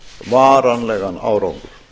varanlegan árangur